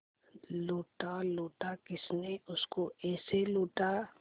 लूटा लूटा किसने उसको ऐसे लूटा